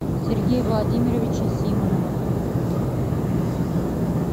сергея владимировича симонова